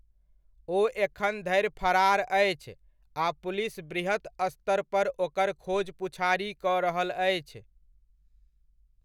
ओ एखन धरि फरार अछि आ पुलिस बृहत् स्तर पर ओकर खोजपुछारी कऽ रहल अछि।